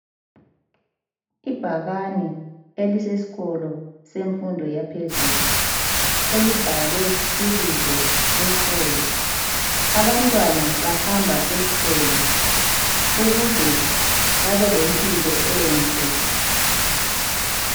Ibhakane eliseskolo semfundo yaphezulu elibhalwe ibizo leskolo. Abantwana bahamba eskolo ukuze babe lempilo enhle.